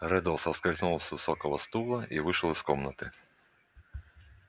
реддл соскользнул с высокого стула и вышел из комнаты